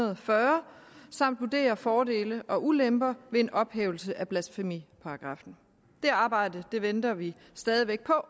og fyrre samt vurderer fordele og ulemper ved en ophævelse af blasfemiparagraffen det arbejde venter vi stadig væk på